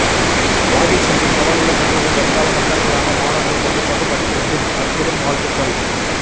வாகைச்செல்வியின் வளமுள்ள கட்டுரை வருங்கால மன்னர்களான மாணவர்கள் கண்டிப்பாகபடிக்கவேண்டும் அற்புதம் வாழ்த்துக்கள்